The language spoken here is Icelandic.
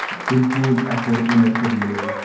Tilbúinn að fórna mér fyrir liðið